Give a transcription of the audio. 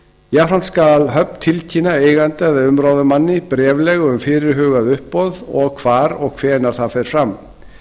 jafnframt skal höfn tilkynna eiganda eða umráðamanni bréflega um fyrirhugað uppboð og hvar og hvenær það fer fram